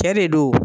Cɛ de don